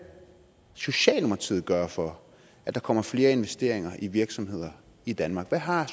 socialdemokratiet gøre for at der kommer flere investeringer i virksomheder i danmark hvad har